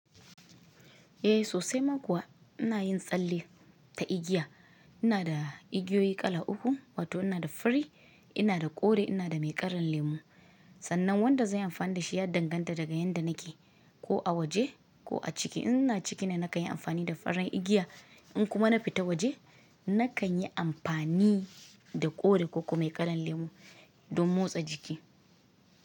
Eh sosai ma kuwa ina yin tsalle ta igiya. Ina da igiyoyi kala uku, wato ina da fari, ina da kore, ina da mai karan lemu. Sannan wanda zanyi amfani da shi ya danganta daga yanda nake, ko a waje ko a ciki. In ina ciki ne nakan yi amfani da faran igiya, in kuma nafita waje nakan yi amfani da kore ko kuma mai kalan lemu don motsa jiki.